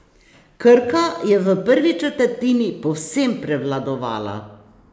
Krka je v prvi četrtini povsem prevladovala.